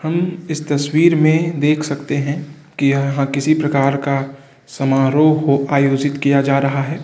हम इस तस्वीर में देख सकते हैं कि यहाँ किसी प्रकार का समारोह हो आयोजित किया जा रहा है।